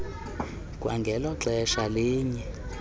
kwangelo xesha linye